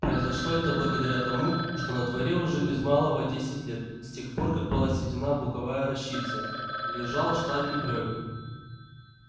произошло это благодаря тому что на дворе уже без малого десять лет с тех пор как была сведена буковая рощица лежал штабель брёвен